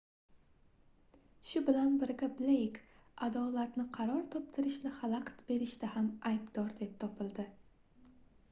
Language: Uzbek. shu bilan birga bleyk adolatni qaror toptirishni xalaqit berishda ham aybdor deb topildi